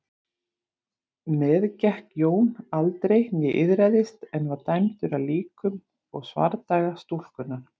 Meðgekk Jón aldrei né iðraðist en var dæmdur af líkum og svardaga stúlkunnar.